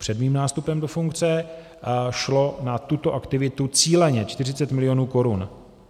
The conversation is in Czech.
Před mým nástupem do funkce šlo na tuto aktivitu cíleně 40 milionů korun.